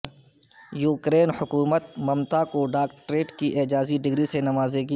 Ukraine حکومت ممتا کو doctorate کی اعزازی ڈگری سے نوازے گی